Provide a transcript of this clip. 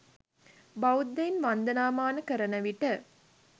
බෞද්ධයන් වන්දනාමාන කරන විට